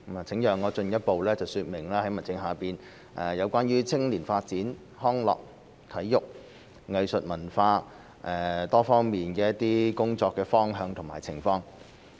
請讓我進一步說明在民政事務局下關於青年發展、康樂、體育、藝術、文化多方面的工作方向和情況。